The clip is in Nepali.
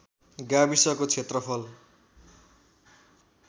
गाविसको क्षेत्रफल